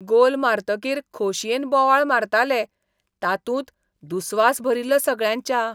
गोल मारतकीर खोशयेन बोवाळ मारताले तातूंत दुस्वास भरिल्लो सगळ्यांच्या.